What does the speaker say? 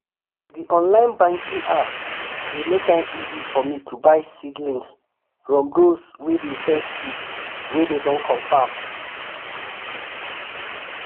the online banking app dey make am easy for me to buy seedlings from those way dey sell seed way dem don confirm.